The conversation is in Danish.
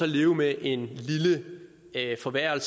leve med en lille forværring